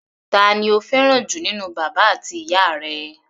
Ta ni o fẹ́ràn jù nínú bàbá àti ìyá rẹ?